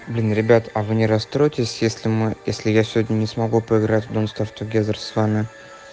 блин ребят а вы не расстроитесь если мы если я сегодня не смогу поиграть в донт старв тугезер с вами